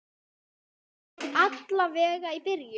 Alla vega í byrjun.